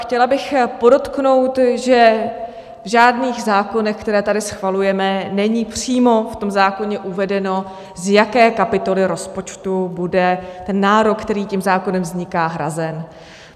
Chtěla bych podotknout, že v žádných zákonech, které tady schvalujeme, není přímo v tom zákoně uvedeno, z jaké kapitoly rozpočtu bude ten nárok, který tím zákonem vzniká, hrazen.